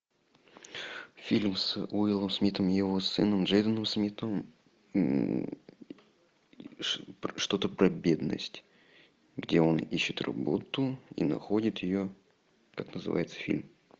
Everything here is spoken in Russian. фильм с уиллом смитом и его сыном джейденом смитом что то про бедность где он ищет работу и находит ее как называется фильм